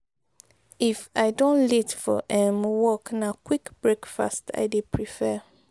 if i don late for um work na quick breakfast i dey prefer.